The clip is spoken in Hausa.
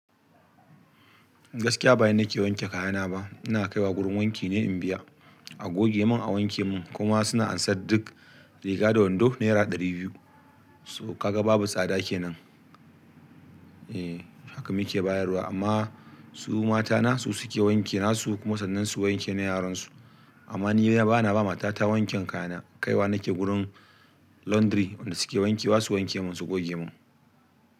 Gaskiya ba ni nake wanke kayana ba, ina kai wa wurin wanki ne in biya, a goge mun, a wanke mun kuma suna ansan duk riga da wando naira ɗari biyu. So kaga babu tsada kenan. Eh, haka muke bayarwa, amma su matana su suke wanke nasu kuma sannan su wanke na yaran su. Amma ni bana ba mata ta wanken kayana, kaiwa nake wurin laundry wanda suke wanke basu wanke mun su goge mun.